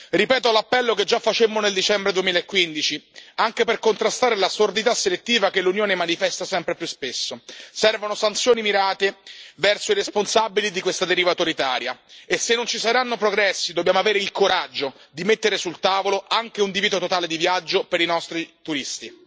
Ripeto l'appello che già facemmo nel dicembre 2015, anche per contrastare la sordità selettiva che l'Unione manifesta sempre più spesso servono sanzioni mirate verso i responsabili di questa deriva autoritaria e se non ci saranno progressi, dobbiamo avere il coraggio di mettere sul tavolo anche un divieto totale di viaggio per i nostri turisti.